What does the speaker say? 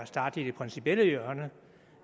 starte i det principielle hjørne at